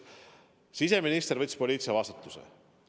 Siseminister võttis poliitilise vastutuse.